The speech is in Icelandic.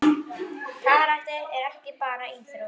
Karate er ekki bara íþrótt.